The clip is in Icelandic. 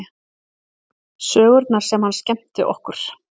Sögurnar sem hann skemmti okkur